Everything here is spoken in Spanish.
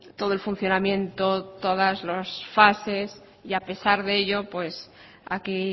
todo el funcionamiento todas las fases y a pesar de ello aquí